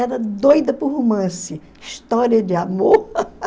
Era doida por romance, história de amor.